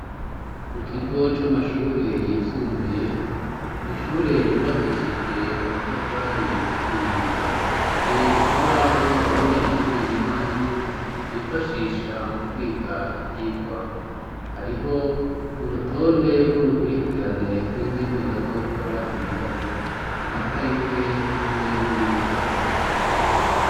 Mu kigo c'amashure yisumbuye, mw'ishure ryubakishije amatafari ahiye. Hari ikibaho abanyeshuri na mwarimu bifashisha mu kwiga ivyigwa. Hariho urutonde rw'urukwirikirane rw'ingene bazokora ibibazo ,amatarike hamwe n'iminsi.